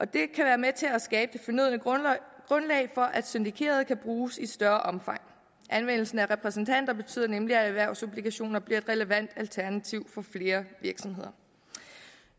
det kan være med til at skabe det fornødne grundlag for at syndikerede lån kan bruges i større omfang anvendelsen af repræsentanter betyder nemlig at erhvervsobligationer bliver et relevant alternativ for flere virksomheder